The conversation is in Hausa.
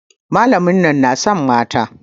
Malamin nan na son mata.